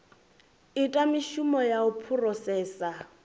ita mishumo ya u phurosesa